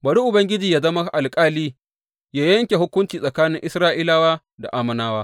Bari Ubangiji yă zama Alƙali, yă yanke hukunci tsakani Isra’ilawa da Ammonawa.